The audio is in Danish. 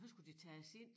Og så skulle de tages ind